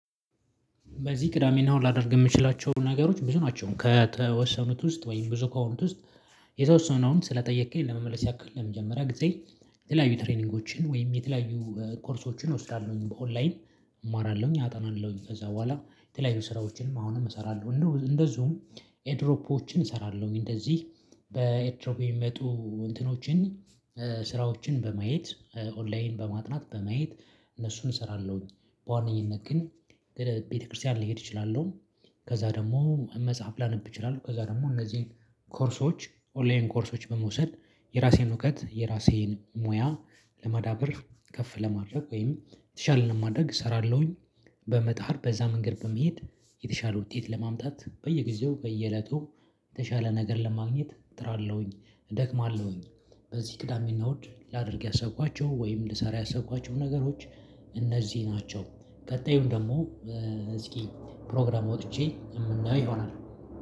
በዚህ ቅዳሜ እና እሁድ ላደርግ የምችላቸው ነገሮች ብዙ ናቸው ከተወሰኑት ውስጥ ወይም ብዙ ከሆኑት ውስጥ። የተወሰነውን ስለጠየከኝ ለመመለስ ያክል ለመጀመሪያ ጊዜ የተለያዩ ትሬኒንጎችን ወይም የተለያዩ ኮርሶችን እወስዳለሁኝ በኦንላይን። እማራለሁኝ አጠናለሁኝ ከዛ በኋላ የተለያዩ ስራዎችንም አሁንም እሰራለሁ እንዲሁም እንደዚሁም ኤርድሮፖችን እሰራለሁ እንደዚህ በኤርድሮፕ የሚመጡ እንትኖችን። ስራዎችን በማየት ኦንላይን በማጥናት በማየት እነሱን እሰራለሁኝ። በዋነኝነት ግን ቤተክርስቲያን ልሄድ እችላለሁ። ከዛ ደግሞ መጽሐፍ ላነብ እችላለሁ። ከዛ ደግሞ እነዚህን ኮርሶች ኦንላይን ኮርሶች በመውሰድ የራሴን እውቀት የራሴን ሙያ ለማዳበር ከፍ ለማድረግ ወይም የተሻለ ለማድረግ እሰራለሁኝ። በመጣር በዛ መንገድ በመሄድ የተሻለ ውጤት ለማምጣት በየጊዜው በየእለቱ የተሻለ ነገር ለማግኘት ጥራለሁኝ። እደክማለሁኝ። በዚህ ቅዳሜ እና እሁድ ላደርግ ያሰብኳቸው ወይም ልሰራ ያሰብኳቸው ነገሮች እነዚህ ናቸው። ቀጣዩን ደግሞ እዚህ ፕሮግራም ወጥቼ የምናየው ይሆናል